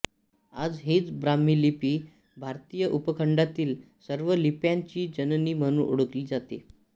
आज हीच ब्राम्ही लिपी भारतीय उपखंडातील सर्व लिप्यांची जननी म्हणून ओळखली जाते